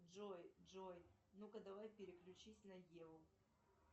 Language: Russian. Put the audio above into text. джой джой ну ка давай переключись на еву